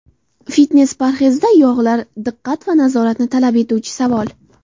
Fitnes-parhezda yog‘lar diqqat va nazoratni talab etuvchi savol.